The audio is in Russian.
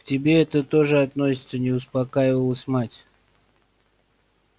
к тебе это тоже относится не успокаивалась мать